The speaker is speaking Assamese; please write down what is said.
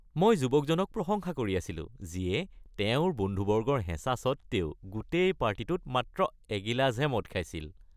মই যুৱকজনক প্ৰশংসা কৰি আছিলো যিয়ে তেওঁৰ বন্ধুবৰ্গৰ হেঁচা স্বত্বেও গোটেই পাৰ্টিটোত মাত্ৰ এগিলাচহে মদ খাইছিল।